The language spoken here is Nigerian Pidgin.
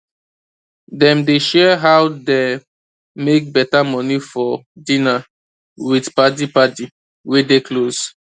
dem dey share how dem make beta money for dinner with paddy paddy wey dey close